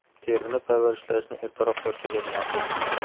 Terini parvarishlashni ertaroq boshlagan ma’qul.